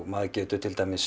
maður getur